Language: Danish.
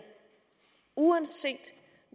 uanset